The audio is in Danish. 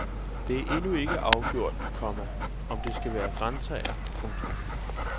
Det er endnu ikke afgjort, komma om det skal være grantræer. punktum